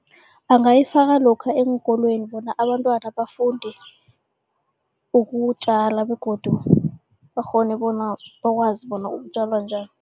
Angayifaka lokha eenkolweni bona abantwana bafunde ukutjala begodu bakghone bona bakwazi bona kutjalwa njani.